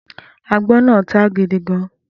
Agbón náà táá gidi gan-an.